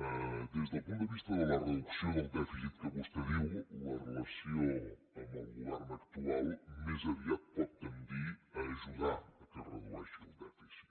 des del punt de vista de la reducció del dèficit que vostè diu la relació amb el govern actual més aviat pot tendir a ajudar que es redueixi el dèficit